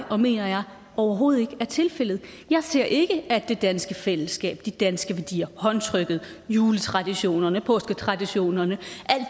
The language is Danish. og mener jeg overhovedet ikke er tilfældet jeg ser ikke at det danske fællesskab de danske værdier håndtrykket juletraditionerne påsketraditionerne